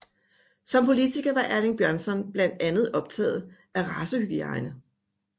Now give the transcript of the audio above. Som politiker var Erling Bjørnson blandt andet optaget af racehygiejne